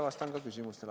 Vastan ka küsimustele.